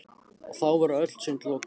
Og þá voru öll sund lokuð!